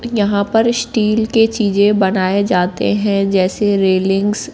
यहां पर स्टील के चीजे बनाए जाते है जैसे रेलिंग्स --